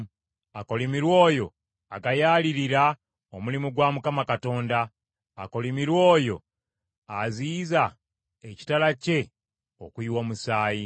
“Akolimirwe oyo agayaalira omulimu gwa Mukama Katonda. Akolimirwe oyo aziyiza ekitala kye okuyiwa omusaayi.